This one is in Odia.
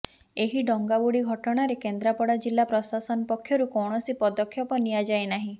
ଏହି ଡଙ୍ଗା ବୁଡି ଘଟଣାରେ କେନ୍ଦ୍ରାପଡ଼ା ଜିଲ୍ଲା ପ୍ରଶାସନ ପକ୍ଷରୁ କୌଣସି ପଦକ୍ଷେପ ନିଆଯାଇନାହିଁ